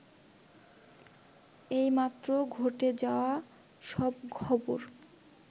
এইমাত্র ঘটে যাওয়া সব খবর